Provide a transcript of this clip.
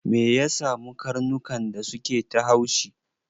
Me ya samu karnukan da suke ta haushi?